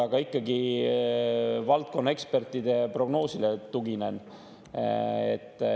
Aga ikkagi valdkonnaekspertide prognoosile tuginen.